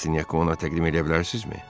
Rastinyakı ona təqdim edə bilərsinizmi?